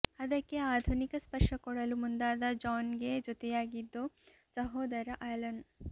ಅದಕ್ಕೆ ಆಧುನಿಕ ಸ್ಪರ್ಶ ಕೊಡಲು ಮುಂದಾದ ಜಾನ್ ಗೆ ಜೊತೆಯಾಗಿದ್ದು ಸಹೋದರ ಆಲನ್